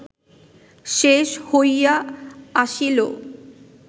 শেষ হইয়া আসিল